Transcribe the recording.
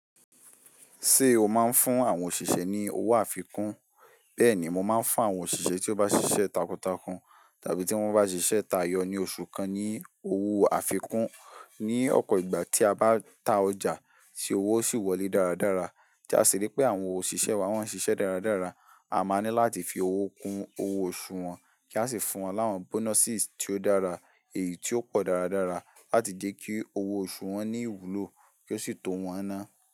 Ṣé o máa ń fún àwọn òṣìṣẹ́ ní owó àfikún? Bẹ́ẹ̀ni, mo máa ń fún àwọn òṣìṣẹ́ tí ó bá ṣiṣẹ́ takuntakun tàbí tí wọ́n bá ṣiṣẹ́ tayọ ní oṣù kan ní owó àfikún. Ni ọ̀pọ̀ ìgbà tí a bá ta ọjà tí owó sì wọlé dáradára tí a sì rí pé àwọn òṣìṣẹ́ wa wọ́n ń ṣiṣẹ́ dáradára, a máa ní láti fi owó kun owó oṣù wọn, kí a sì fún wọn láwọn bonuses tí ó dára, èyí tí ó pọ̀ dáradára láti jẹ́ kí owó oṣù wọn ní ìwúlò kí ó sì tó wọn á ná.